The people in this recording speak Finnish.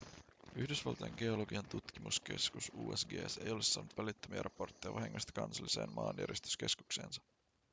yhdysvaltain geologian tutkimuskeskus usgs ei ole saanut välittömiä raportteja vahingoista kansalliseen maanjäristyskeskukseensa